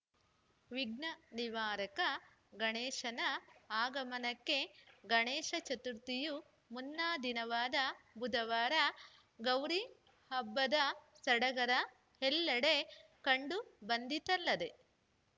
ವಿಘ್ನ ನಿವಾರಕ ಗಣೇಶನ ಆಗಮನಕ್ಕೆ ಗಣೇಶ ಚತುರ್ಥಿಯ ಮುನ್ನಾ ದಿನವಾದ ಬುಧವಾರ ಗೌರಿ ಹಬ್ಬದ ಸಡಗರ ಎಲ್ಲೆಡೆ ಕಂಡು ಬಂದಿತಲ್ಲದೇ